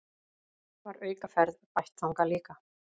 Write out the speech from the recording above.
Var aukaferð bætt þangað líka